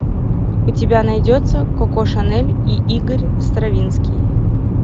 у тебя найдется коко шанель и игорь стравинский